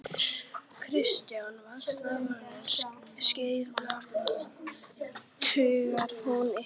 Kristján: Vaxtaákvörðun Seðlabankans, truflar hún ykkur?